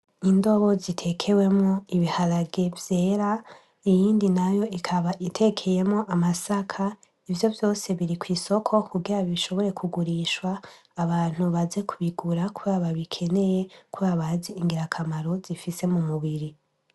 Indobo zitekewemwo ibiharage vyera iyindi nayo ikaba itekeyemwo amasaka, ivyo vyose biri kw'isoko kugira bishobore kugurishwa abantu baze kubigura kubera babikeneye kubera bazi ingirakamaro zifise k'umubiri.